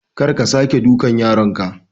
Kar ka sake ka duka yaronka.